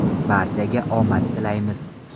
Barchaga omad tilaymiz!